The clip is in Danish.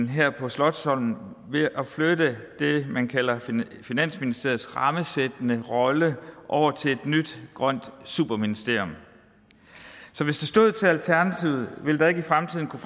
her på slotsholmen ved at flytte det man kalder finansministeriets rammesættende rolle over til et nyt grønt superministerium så hvis det stod til alternativet ville der ikke i fremtiden kunne